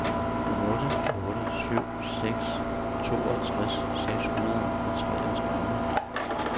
otte otte syv seks toogtres seks hundrede og treogtredive